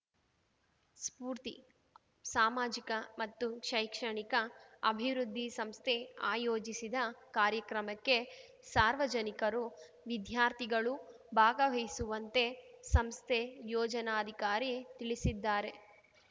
ಸ್ಫೂರ್ತಿ ಸಾಮಾಜಿಕ ಮತ್ತು ಶೈಕ್ಷಣಿಕ ಅಭಿವೃದ್ಧಿ ಸಂಸ್ಥೆ ಆಯೋಜಿಸಿದ ಕಾರ್ಯಕ್ರಮಕ್ಕೆ ಸಾರ್ವಜನಿಕರು ವಿದ್ಯಾರ್ಥಿಗಳೂ ಭಾಗವಹಿಸುವಂತೆ ಸಂಸ್ಥೆ ಯೊಜನಾಧಿಕಾರಿ ತಿಳಿಸಿದ್ದಾರೆ